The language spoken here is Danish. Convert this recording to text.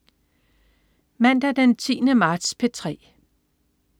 Mandag den 10. marts - P3: